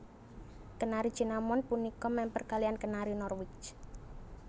Kenari Cinnamon punika mèmper kaliyan Kenari Norwich